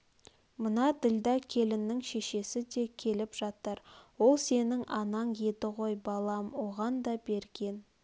мына ділдә келіннің шешесі де келіп жатыр ол сенің анаң еді ғой балам оған да берген